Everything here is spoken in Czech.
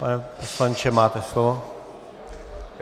Pane poslanče, máte slovo.